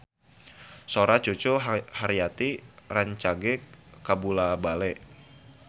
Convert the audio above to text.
Sora Cucu Cahyati rancage kabula-bale